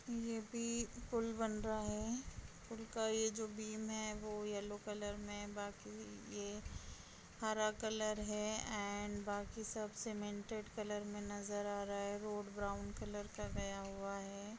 ये भी पूल बन रहा है पूल का ए जो बीम है वो येल्लो कलर मे बाकी ये हरा कलर है अँड बाकी सबसे सिमेंटेड कलर मे नज़र आ रहा है रोड ब्राउन कलर का गया हुआ है।